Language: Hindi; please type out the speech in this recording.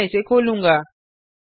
मैं इसे खोलूँगा